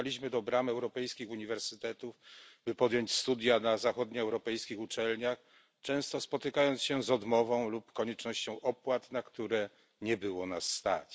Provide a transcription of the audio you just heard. Pukaliśmy do bram europejskich uniwersytetów, by podjąć studia na zachodnioeuropejskich uczelniach, często spotykając się z odmową lub koniecznością opłat, na które nie było nas stać.